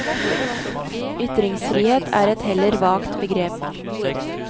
Ytringsfrihet er et heller vagt begrep.